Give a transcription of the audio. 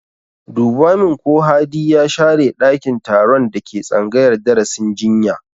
Duba min ko Hadi ya share ɗakin taron da ke tsangayar darasin jinya!